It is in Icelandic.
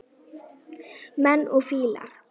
Menn og fílar